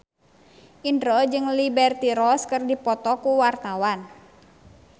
Indro jeung Liberty Ross keur dipoto ku wartawan